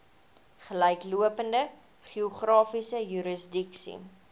gelyklopende geografiese jurisdiksie